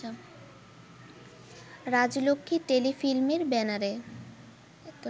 রাজলক্ষ্মী টেলিফিল্মের ব্যানারে